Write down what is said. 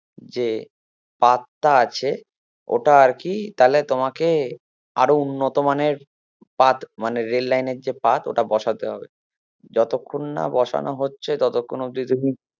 যে পাতটা আছে ওটা আরকি তাহলে তোমাকে আরো উন্নত মানের পাত মানে রেল লাইনের যে পাত ওটা বসাতে হবে যতক্ষণ না বসানো হচ্ছে ততক্ষন অব্দি তুমি